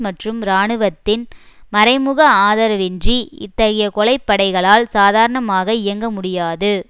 மற்றும் இராணுவத்தின் மறைமுக ஆதரவின்றி இத்தகைய கொலைப்படைகளால் சாதாரணமாக இயங்க முடியாது